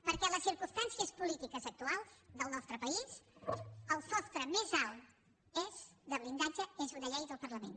perquè en les circumstàncies polítiques actuals del nostre país el sostre més alt de blindatge és una llei del parlament